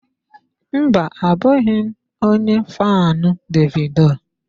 Mba, abụghị m onye faanụ Davido.